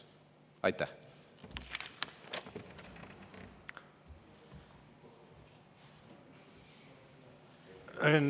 Aitäh!